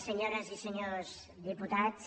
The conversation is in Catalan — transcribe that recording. senyores i senyors diputats